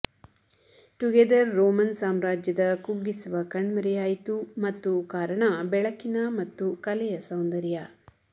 together Roman ಸಾಮ್ರಾಜ್ಯದ ಕುಗ್ಗಿಸುವ ಕಣ್ಮರೆಯಾಯಿತು ಮತ್ತು ಕಾರಣ ಬೆಳಕಿನ ಮತ್ತು ಕಲೆಯ ಸೌಂದರ್ಯ